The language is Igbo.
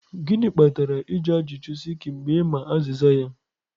gịnị kpatara ịjụ ajụjụ sikky mgbe ị ma azịza ya.